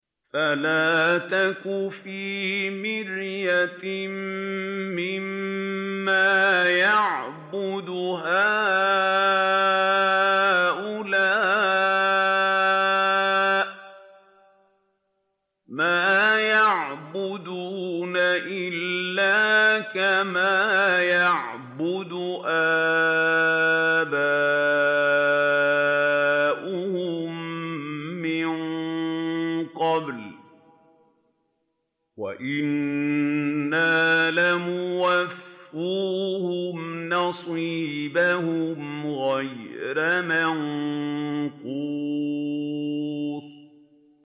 فَلَا تَكُ فِي مِرْيَةٍ مِّمَّا يَعْبُدُ هَٰؤُلَاءِ ۚ مَا يَعْبُدُونَ إِلَّا كَمَا يَعْبُدُ آبَاؤُهُم مِّن قَبْلُ ۚ وَإِنَّا لَمُوَفُّوهُمْ نَصِيبَهُمْ غَيْرَ مَنقُوصٍ